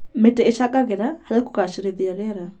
Mĩtĩ ĩcangagĩra harĩ kũgacĩrithia rĩera.